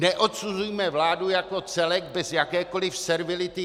Neodsuzujme vládu jako celek bez jakékoliv servility.